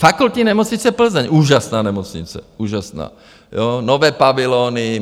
Fakultní nemocnice Plzeň, úžasná nemocnice, úžasná, nové pavilony...